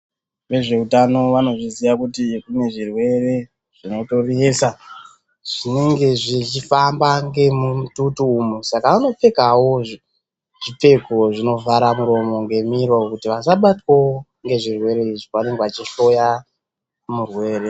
Vezveutano vanozviziva kuti kune zvirwere zvinotonesa zvinenge zvichifamba ngemumututu umwu saka anopfekawo zvipfeko zvinovhara muromo ngemiro kuti asbatwawo ngezvirwere izvi pavanenge vachihloya murwere.